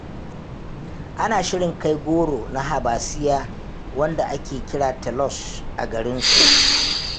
Ana shirin kai goro na Habasiyya wanda ake kira Telosh a garinsu.